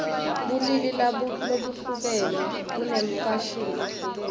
bulili labuhlukene bunemfashini lehlukene